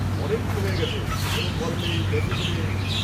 অনেকদিন হয়ে গেছে, কোনও কল নেই, মেসেজ নেই।